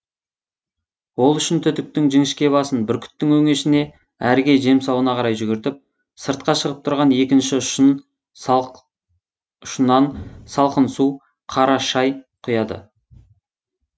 ол үшін түтіктің жіңішке басын бүркіттің өңешіне әріге жемсауына қарай жүгіртіп сыртқа шығып тұрған екінші ұшынан салқын су қара шай құяды